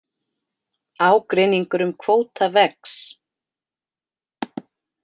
Ágreiningur um kvóta vex